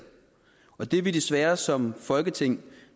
og det er vi desværre som folketing